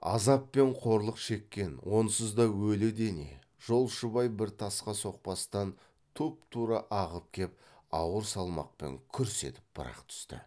азап пен қорлық шеккен онсыз да өлі дене жолшыбай бір тасқа соқпастан тұп тура ағып кеп ауыр салмақпен күрс етіп бір ақ түсті